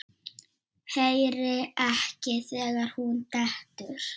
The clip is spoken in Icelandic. Heyri ekki þegar hún dettur.